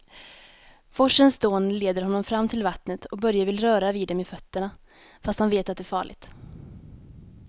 Forsens dån leder honom fram till vattnet och Börje vill röra vid det med fötterna, fast han vet att det är farligt.